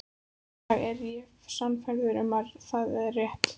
Í dag er ég sannfærð um að það er rétt.